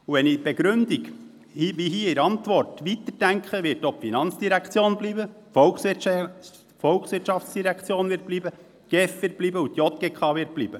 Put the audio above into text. Wenn ich die Begründung, die der Regierungsrat in seiner Antwort gegeben hat, weiter denke, wird auch die FIN bleiben, die VOL sowie auch die GEF und die JGK.